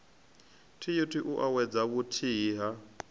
t ut uwedza vhuthihi ha